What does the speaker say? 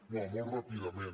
no molt ràpidament